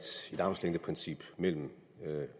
armslængdeprincip mellem